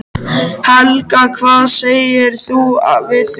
Helga: Hvað segir þú við því?